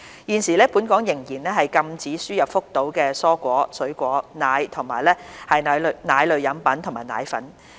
現時，本港仍然禁止輸入福島的蔬菜、水果、奶和奶類飲品及奶粉。